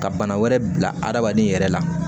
Ka bana wɛrɛ bila adamaden yɛrɛ la